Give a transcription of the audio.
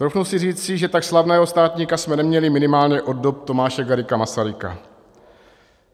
Troufnu si říci, že tak slavného státníka jsme neměli minimálně od dob Tomáše Garrigua Masaryka.